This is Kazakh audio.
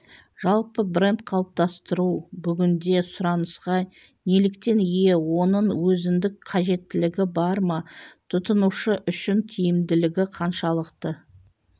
жалпы бренд қалыптастыру бүгінде сұранысқа неліктен ие оның өзіндік қажеттілігі бар ма тұтынушы үшін тиімділігі қаншалықты